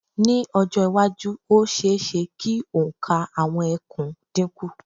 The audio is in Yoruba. Ní ọjọ́-iwájú, ó ṣe-é-ṣe kí òǹkà àwọn ẹkùn dínkù.